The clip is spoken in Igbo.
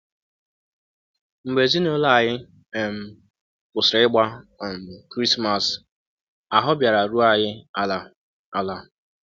um Mgbe ezinụlọ anyị um kwụsịrị ịgba um Krismas, ahụ́ bịara rụọ anyị ala! ala! ”